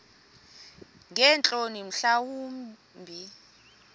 ngeentloni mhla wumbi